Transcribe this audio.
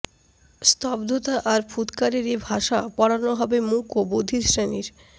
স্তব্ধতা আর ফুৎকারের এ ভাষা পড়ানো হবে মূক ও বধির শ্রেণীর